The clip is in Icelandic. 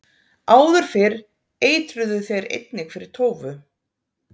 áður fyrr eitruðu þeir einnig fyrir tófu